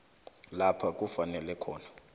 lapha kufanele khona